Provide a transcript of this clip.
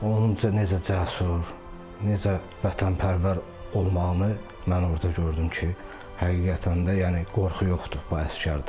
Onun necə cəsur, necə vətənpərvər olmağını mən orda gördüm ki, həqiqətən də yəni qorxu yoxdur bu əsgərdə.